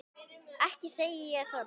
Ekki segi ég það nú.